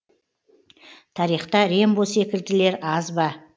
тарихта рембо секілділер аз ба